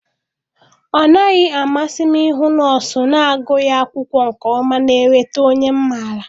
Ọ naghị amasị m ịhụ nọọsụ na-agụghị akwụkwọ nke ọma na-eleta onye m maara.